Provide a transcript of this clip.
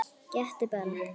Gettu bara?